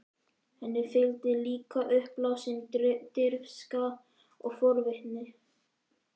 Henni fylgdi líka uppblásin dirfska og forvitni.